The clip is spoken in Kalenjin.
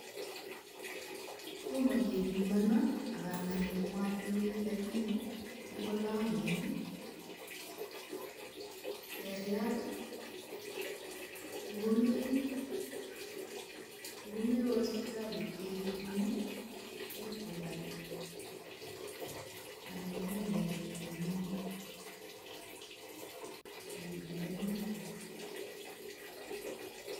Tomo kebimonon ago angen kole motindoi, lakini ng'olongen seriat ngomewe sipitalit kegerun ii ko imuch kobarin anan kong'em borto neng'ung'et ak itendenitu.